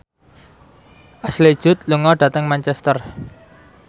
Ashley Judd lunga dhateng Manchester